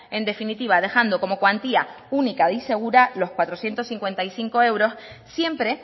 en definitiva dejando como cuantía única y segura los cuatrocientos cincuenta y cinco euros siempre